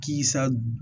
K'i sa